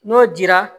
N'o dira